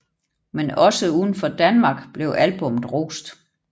Men også udenfor Danmark blev albummet rost